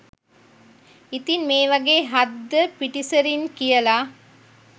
ඉතින් මේ වගේ හද්ද පිටිසරින් කියල